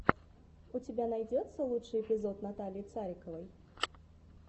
у тебя найдется лучший эпизод натальи цариковой